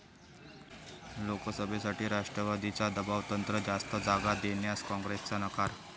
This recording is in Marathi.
लोकसभेसाठी राष्ट्रवादीचं दबावतंत्र, जास्त जागा देण्यास काँग्रेसचा नकार!